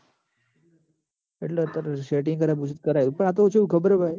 એટલ તાર setting કરાવવું હશે તો કરાઈ આલે પણ આ તો કેવું ખબર હ ભાઈ